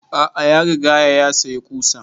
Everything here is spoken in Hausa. A'a ya rigaya ya sayi ƙusan